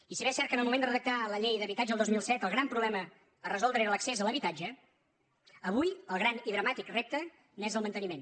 i si bé és cert que en el moment de redactar la llei de l’habitatge el dos mil set el gran problema a resoldre era l’accés a l’habitatge avui el gran i dramàtic repte n’és el manteniment